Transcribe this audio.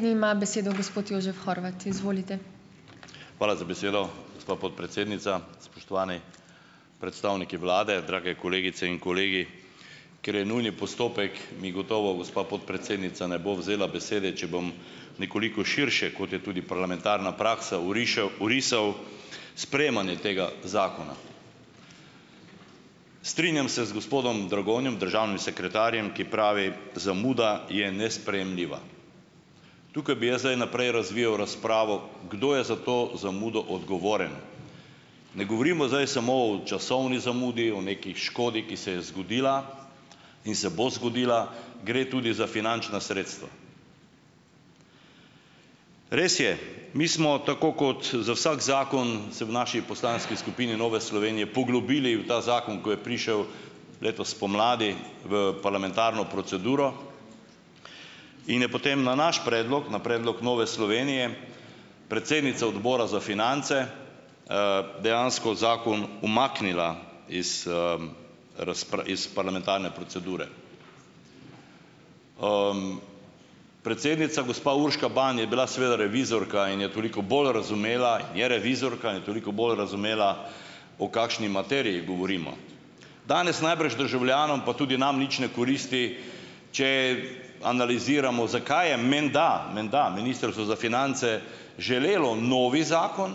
Hvala za besedo, gospa podpredsednica, spoštovani predstavniki vlade, drage kolegice in kolegi. Ker je nujni postopek, mi gotovo gospa podpredsednica ne bo vzela besede, če bom nekoliko širše, kot je tudi parlamentarna praksa, orišev orisal sprejemanje tega zakona. Strinjam se z gospodom Dragonjem, državnim sekretarjem, ki pravi: "Zamuda je nesprejemljiva." Tukaj bi jaz zdaj naprej razvijal razpravo, kdo je za to zamudo odgovoren. Ne govorimo zdaj samo o časovni zamudi, o neki škodi, ki se je zgodila in se bo zgodila, gre tudi za finančna sredstva. Res je, mi smo tako kot za vsak zakon se v naši poslanski skupini Nove Slovenije poglobili v ta zakon, ko je prišel letos spomladi v parlamentarno proceduro, in je potem na naš predlog, na predlog Nove Slovenije predsednica odbora za finance, dejansko zakon umaknila iz, iz parlamentarne procedure. Predsednica gospa Urška Ban je bila seveda revizorka in je toliko bolj razumela, je revizorka in toliko bolj razumela, o kakšni materiji govorimo. Danes najbrž državljanom pa tudi nam nič ne koristi, če analiziramo zakaj je menda, menda ministrstvo za finance želelo novi zakon,